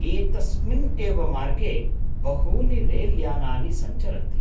एतस्मिन् एव मार्गे बहूनि रेल्यानानि सञ्चरन्ति।